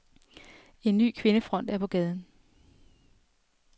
En ny kvindefront er på gaden.